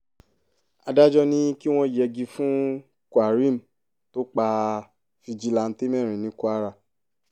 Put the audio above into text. adájọ́ ní kí wọ́n yẹgi fún quareem tó pa fíjìláńtẹ̀ mẹ́rin ní kwara